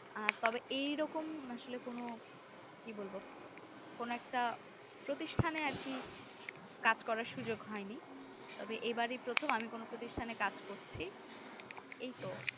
তবে এই রকম আসলে কোনো কি বলবো কোনো একটা প্রতিষ্টানে আর কি কাজ করার সুযোগ হয় নিই তবে এই বাড়ে প্রথম আমি কোনো প্রতিষ্টানে আমি কাজ করছি এই তো